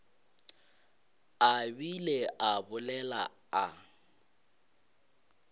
a bile a bolela a